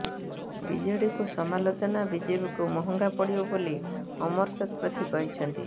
ବିଜେଡିକୁ ସମାଲୋଚନା ବିଜେପିକୁ ମହଙ୍ଗା ପଡିବ ବୋଲି ଅମର ଶତପଥୀ କହିଛନ୍ତି